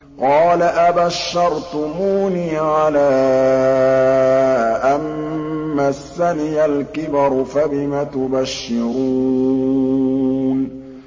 قَالَ أَبَشَّرْتُمُونِي عَلَىٰ أَن مَّسَّنِيَ الْكِبَرُ فَبِمَ تُبَشِّرُونَ